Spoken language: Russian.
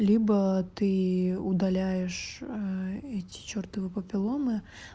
либо ты удаляешь эти чертовы папилломы